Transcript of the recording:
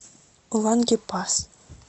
лангепас